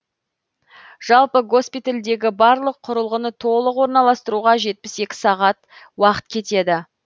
жалпы госпитальдегі барлық құрылғыны толық орналастыруға жетпіс екі сағат уақыт кетеді